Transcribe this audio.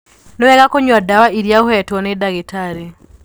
Nĩwega kunyua dawa iria ũhetwo nĩdagĩtarĩ.